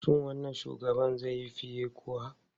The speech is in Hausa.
Shin wannan shugaban zai yi fiye kuwa?